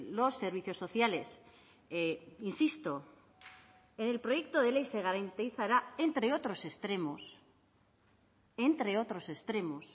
los servicios sociales insisto el proyecto de ley se garantizará entre otros extremos entre otros extremos